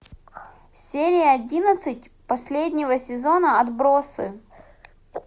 серия одиннадцать последнего сезона отбросы